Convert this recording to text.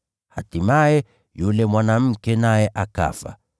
Hatimaye, yule mwanamke naye akafa.